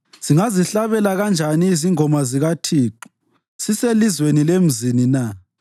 Singazihlabela kanjani izingoma zikaThixo siselizweni lemzini na?